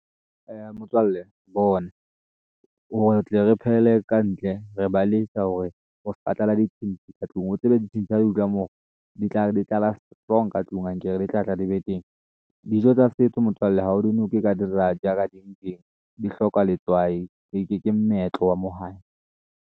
Motswalle bona, hore re tle re phehele ka ntle re baleisa hore ho ska tlala ditshintshi ka tlung o tsebe ditshintshi ha di moo, di tlala strong ka tlung ankere di tlatla di be teng. Dijo tsa setso motswalle ha o di noke ka di rajah ka di eng eng di hloka letswai ke moetlo wa moo hae.